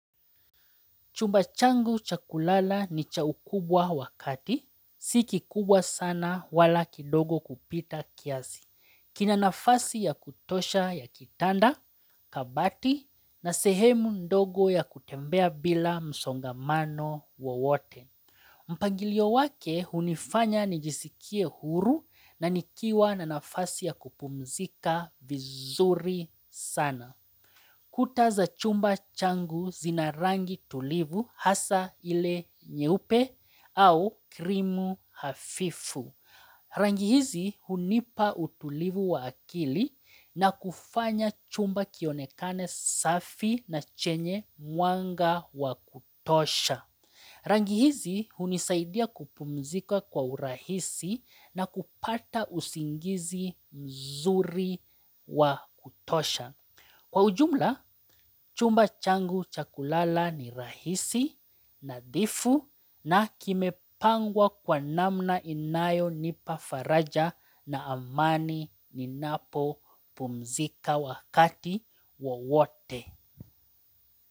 Chumba changu cha kulala ni cha ukubwa wa kati. Si kikubwa sana wala kidogo kupita kiasi. Kina nafasi ya kutosha ya kitanda, kabati na sehemu ndogo ya kutembea bila msongamano wowote. Mpangilio wake hunifanya nijisikie huru na nikiwa na nafasi ya kupumzika vizuri sana. Kuta za chumba changu zinarangi tulivu hasa ile nyeupe au krimu hafifu. Rangi hizi hunipa utulivu wa akili na kufanya chumba kionekane safi na chenye mwanga wa kutosha. Rangi hizi hunisaidia kupumzika kwa urahisi na kupata usingizi mzuri wa kutosha. Kwa ujumla, chumba changu cha kulala ni rahisi nadhifu na kimepangwa kwa namna inayo nipa faraja na amani ninapo pumzika wakati wowote.